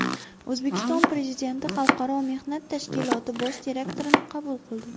O‘zbekiston Prezidenti Xalqaro mehnat tashkiloti bosh direktorini qabul qildi.